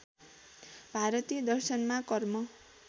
भारतीय दर्शनमा कर्म